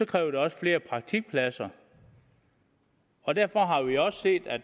kræver det også flere praktikpladser og derfor har vi også set at